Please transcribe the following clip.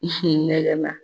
ɲɛgɛn na.